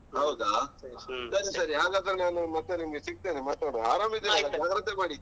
ಹೌದಾ ಸರಿ ಸರಿ ಹಾಗಾದ್ರೆ ನಾನು ಮತ್ತೆ ನಿಮ್ಗೇ ಸಿಗ್ತೇನೆ ಮಾತಾಡುವ ಜಾಗ್ರತೆ ಮಾಡಿ.